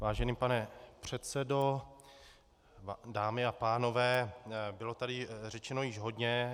Vážený pane předsedo, dámy a pánové, bylo tady řečeno již hodně.